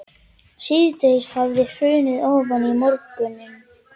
Síðdegið hafði hrunið ofan í morguninn eins og ósýnilegt snjóflóð.